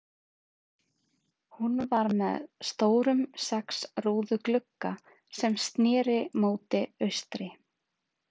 Hún var með stórum sex rúðu glugga, sem sneri móti austri.